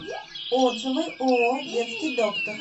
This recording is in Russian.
отзывы ооо детский доктор